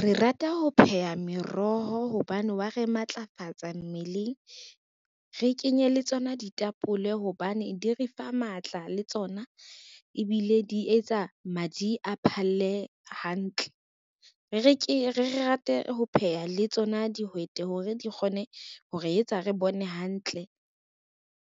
Re rata ho pheha meroho hobane wa re matlafatsa mmeleng, re kenye le tsona ditapole hobane di re fa matla le tsona ebile di etsa madi a phalle hantle. Re ke re rate ho pheha le tsona dihwete hore di kgone hore etsa re bone hantle,